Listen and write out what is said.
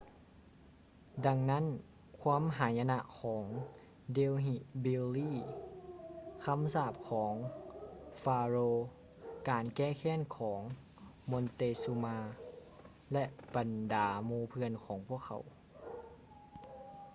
ດັ່ງນັ້ນຄວາມຫາຍະນະຂອງ delhi belly ຄຳສາບຂອງ pharaoh ການແກ້ແຄ້ນຂອງ montezuma ແລະ ບັນດາໝູ່ເພື່ອນຂອງພວກເຂົາ